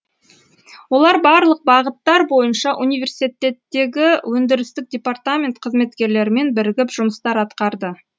олар барлық бағыттар бойынша университеттегі өндірістік департамент қызметкерлерімен бірігіп жұмыстар атқарды